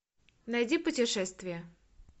найди путешествия